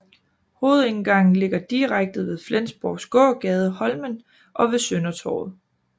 Hovedindgangen ligger direkte ved Flensborgs gågade Holmen og ved Søndertorvet